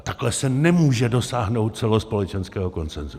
A takhle se nemůže dosáhnout celospolečenského konsenzu.